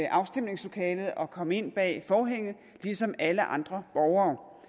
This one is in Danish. afstemningslokalet og komme ind bag forhænget ligesom alle andre borgere